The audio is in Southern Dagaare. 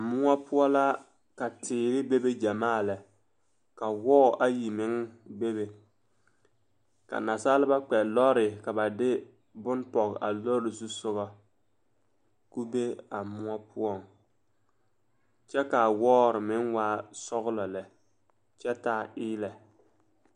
Moɔ poɔ la ka teere bebe ɡyamaa lɛ ka wɔɔ ayi meŋ bebe ka nasaleba kpɛ lɔre ka ba de bone pɔɡe a lɔre zusoɡɔ ka o be a moɔ poɔŋ kyɛ ka a wɔɔre meŋ waa sɔɡelɔ lɛ kyɛ taa eelɛ.